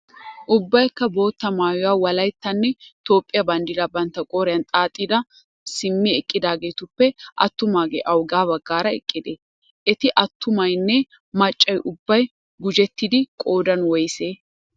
Ubbaykka bootta maayuwaa wolayttanne Toophphiya banddiraa bantta qooriyan xaaxidihaa simmi eqqidaageetuppe attumaage awugaa baggaara eqqidee? Eti attumaynne maccay ubbay gujjettidi qoodan woysee?